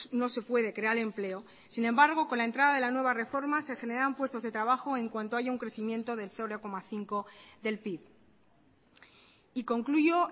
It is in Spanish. no se puede crear empleo sin embargo con la entrada de la nueva reforma se generarán puestos de trabajo en cuanto haya un crecimiento del cero coma cinco por ciento del pib y concluyo